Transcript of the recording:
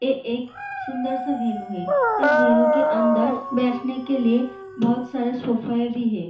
ये एक सुंदर सा वेनू है इस वेन्यू के अंदर बैठने के लिए बहोत सारे सोफे भी है।